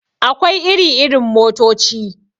Akwai iri irin motoci.